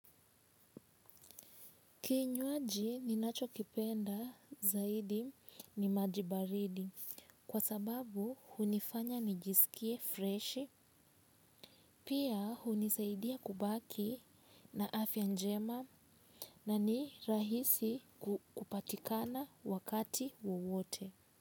Kinywaji ninachokipenda zaidi ni maji baridi kwa sababu hunifanya nijisikie fresh pia hunisaidia kubaki na afya njema na ni rahisi kupatikana wakati wowote.